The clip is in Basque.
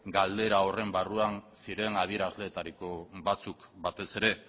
galdera horren barruan ziren adierazleetariko batzuk batez ere